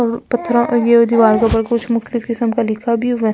ये वो दीवाल के ऊपर कुछ मुक्ति किस्म का लिखा भी हुआ है।